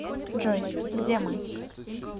джой где мы